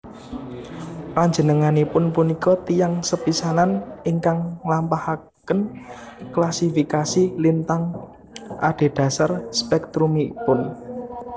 Panjenenganipun punika tiyang sepisanan ingkang nglampahaken klasifikasi lintang adhedhasar spèktrumipun